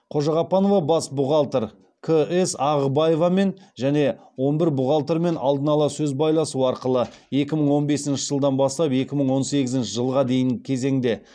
қожағаппанова бас бухгалтер ағыбаевамен және он бір бухгалтермен алдын ала сөз байласу арқылы екі мың он бесінші жылдан бастап екі мың он сегізінші жылға дейінгі кезеңде